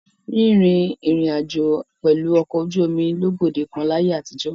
Rín rin ìrìn-àjò pẹ̀lú ọkọ̀ ojú omi ló gbòde kan láyé àtijọ́.